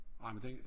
Ej men den